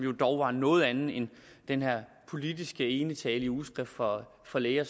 var dog en noget anden end den her politiske enetale i ugeskrift for for læger